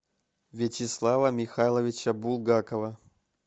вячеслава михайловича булгакова